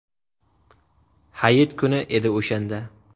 Hayit kuni edi o‘shanda.